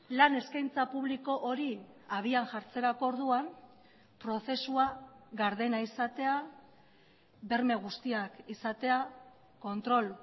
lan eskaintza publiko hori habian jartzerako orduan prozesua gardena izatea berme guztiak izatea kontrol